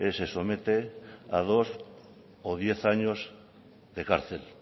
se somete a dos o diez años de cárcel